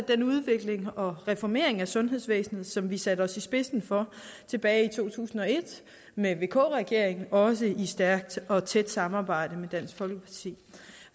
den udvikling og reformering af sundhedsvæsenet som vi satte os i spidsen for tilbage i to tusind og et med vk regeringen også i et stærkt og tæt samarbejde med dansk folkeparti